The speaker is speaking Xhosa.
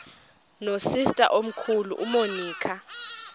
nosister omkhulu umonica